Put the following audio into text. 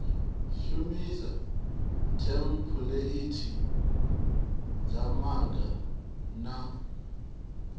shumisa thempuleithi dza bannga na